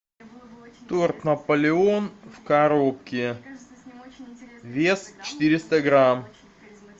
торт наполеон в коробке вес четыреста грамм